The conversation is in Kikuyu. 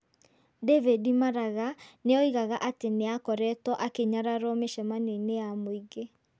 David Maraga nĩ oigaga atĩ nĩ akoretwo akĩnyararwo mĩcemanio-inĩ ya mũingĩ.